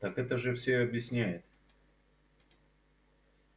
так это же всё объясняет